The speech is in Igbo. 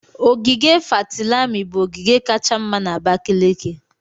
ogige Fatilami bụ ogige kacha mma na Abakaliki.